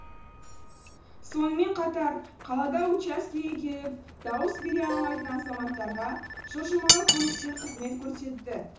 сонымен қатар қалада учаскеге келіп дауыс бере алмайтын азаматтарға жылжымалы пунктер қызмет көрсетті